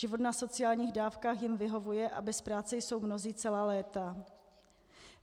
Život na sociálních dávkách jim vyhovuje a bez práce jsou mnozí celá léta.